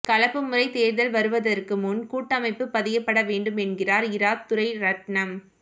கலப்பு முறை தேர்தல் வருவதற்கு முன் கூட்டமைப்பு பதியப்பட வேண்டும் என்கிறார் இரா துரைரட்ணம்